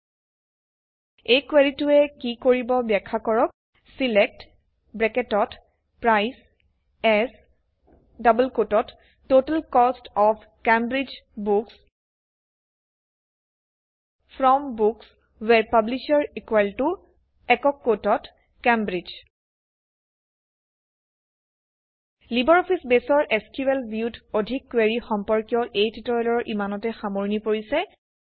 ৪ এই কুৱেৰিটোৱে কি কৰিব ব্যাখ্যা কৰক select AS total cost of Cambridge books from books where publisher Cambridge LibreOffice বেছৰ এছক্যুএল ভিউত অধিক কুৱেৰি সম্পৰ্কীয় এই টিউটৰিয়েলৰ ইমানতে সামৰণি পৰিছে